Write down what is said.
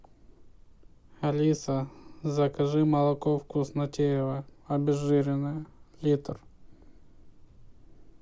алиса закажи молоко вкуснотеево обезжиренное литр